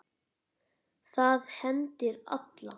Það hendir alla